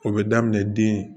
O bɛ daminɛ den